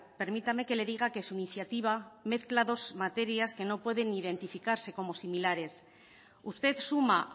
permítame que le diga que su iniciativa mezcla dos materias que no puede identificarse como similares usted suma